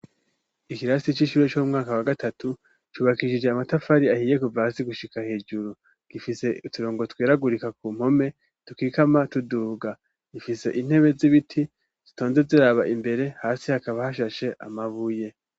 Ikirasi c'ishure co mwaka wa gatatu, cubakishije amatafari ahiye kuva hasi gushika hejuru, gifise uturongo tweragurika ku mpome dukikama tuduga, ifise intebe z'ibiti zitonze ziraba imbere, hasi hakaba hashashe amabuye.